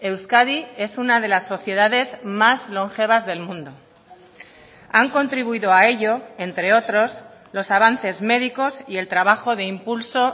euskadi es una de las sociedades más longevas del mundo han contribuido a ello entre otros los avances médicos y el trabajo de impulso